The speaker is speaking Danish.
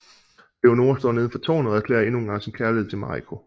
Leonora står neden for tårnet og erklærer endnu engang sin kærlighed til Marico